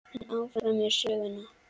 En áfram með söguna.